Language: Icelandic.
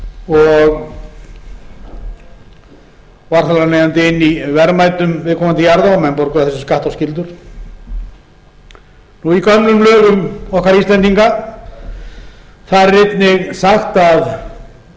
og á þar af leiðandi inni í verðmætum viðkomandi jarða og menn borguðu af þessu skatta og skyldur og í gömlum lögum okkar íslendinga er einnig sagt að